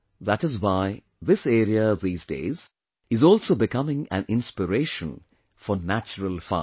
That is why this area, these days, is also becoming an inspiration for natural farming